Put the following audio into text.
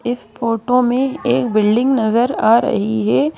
इस फोटो में एक बिल्डिंग नजर आ रही है।